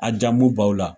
A jamu b'aw la